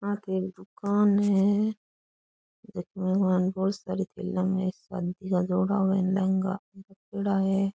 आगे एक दुकान है जकी के मायने बहोत सारी शादी का जोड़ा व लहंगा रखयोड़ा है।